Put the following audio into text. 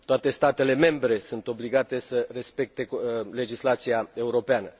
Toate statele membre sunt obligate să respecte legislația europeană.